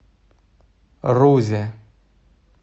рузе